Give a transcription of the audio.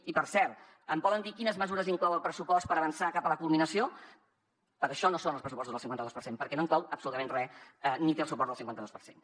i per cert em poden dir quines mesures inclou el pressupost per avançar cap a la culminació per això no són els pressupostos del cinquanta dos per cent perquè no inclou absolutament re ni té el suport del cinquanta dos per cent